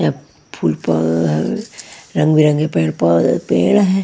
रंग बिरंगे पेड़ पौधे पेड़ हैं।